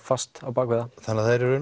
fast á bak við það þannig að það er